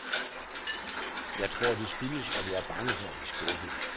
Jeg tror, det skyldes, at jeg er bange for at blive skuffet.